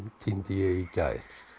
týndi ég í gær